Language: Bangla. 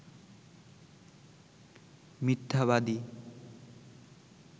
মিথ্যাবাদী